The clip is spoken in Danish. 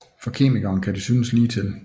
For kemikeren kan det synes ligetil